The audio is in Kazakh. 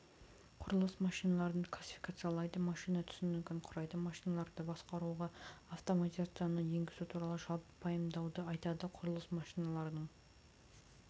құрылыс машиналарын классификациялайды машина түсінігін құрайды машиналарды басқаруға автоматизацияны енгізу туралы жалпы пайымдауды айтады құрылыс машиналарының